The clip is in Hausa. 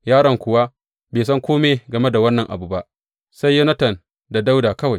Yaron kuwa bai san kome game da wannan abu ba, sai Yonatan da Dawuda kawai.